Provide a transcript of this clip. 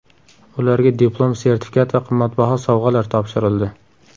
Ularga diplom, sertifikat va qimmatbaho sovg‘alar topshirildi.